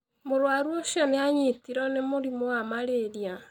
Mũrũaru ũcio nĩ anyitirwo nĩ mũrimũ wa malaria.